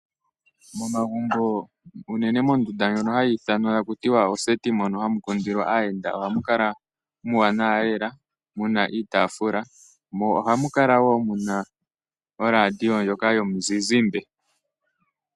Momagumbo unene mondunda ndjono hayi ithanwa taku tiwa oseti mono hamu kundilwa aayenda, ohamu kala muuwanawa lela. Muna iitafula, mo ohamu kala wo muna oradio ndjoka yomu zizimba.